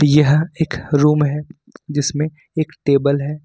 यह एक रूम है जिसमें एक टेबल है।